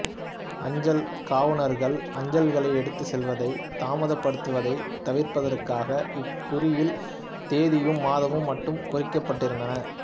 அஞ்சல் காவுனர்கள் அஞ்சல்களை எடுத்துச் செல்வதைத் தாமதப்படுத்துவதைத் தவிர்ப்பதற்காக இக் குறியில் தேதியும் மாதமும் மட்டும் குறிக்கப்பட்டிருந்தன